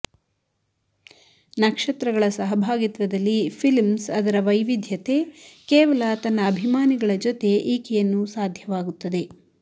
ನಕ್ಷತ್ರಗಳ ಸಹಭಾಗಿತ್ವದಲ್ಲಿ ಫಿಲ್ಮ್ಸ್ ಅದರ ವೈವಿಧ್ಯತೆ ಕೇವಲ ತನ್ನ ಅಭಿಮಾನಿಗಳ ಜೊತೆ ಈಕೆಯನ್ನು ಸಾಧ್ಯವಾಗುತ್ತದೆ